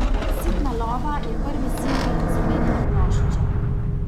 Sitna lova je prvi singl z omenjene plošče.